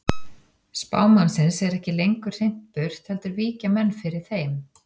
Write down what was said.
Spámannsins er ekki lengur hrint burt heldur víkja menn fyrir þeim.